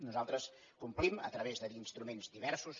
nosaltres ho complim a través d’instruments diversos